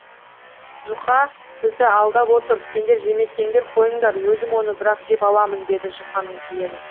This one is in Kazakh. жұқа бізді алдап отыр сендер жемесеңдер қойыңдар өзім оны бірақ жеп аламын дейді жұқаның жиені